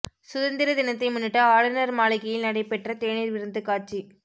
சுதந்திர தினத்தை முன்னிட்டு ஆளுநர் மாளிகையில் நடைபெற்ற தேநீர் விருந்து காட்சி